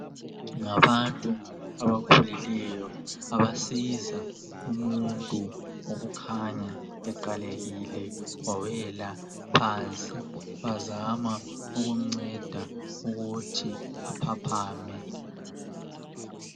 Ngabantu abakhulileyo abasiza umuntu okukhanya eqalekile wawela phansi bazama ukumnceda ukuthi aphaphame.